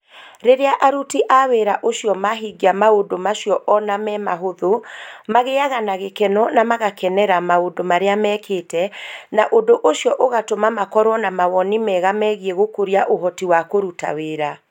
Rĩrĩa aruti a wĩra ũcio mahingia maũndũ macio ona memahũthũ, magĩaga na gĩkeno na magakenera maũndũ marĩa mekĩte, na ũndũ ũcio ũgatũma makorũo na mawoni mega megiĩ gũkũria ũhoti wa kũruta wĩra